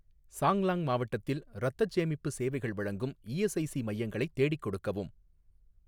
சாங்லாங் மாவட்டத்தில் இரத்தச் சேமிப்பு சேவைகள் வழங்கும் இஎஸ்ஐசி மையங்களைத் தேடிக் கொடுக்கவும்